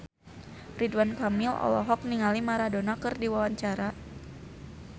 Ridwan Kamil olohok ningali Maradona keur diwawancara